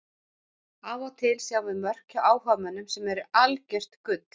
Af og til sjáum við mörk hjá áhugamönnum sem eru algjört gull.